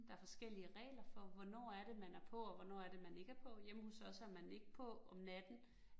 Der forskellige regler for, hvornår er det man er på, og hvornår er det man ikke på. Hjemme hos os er man ikke på om natten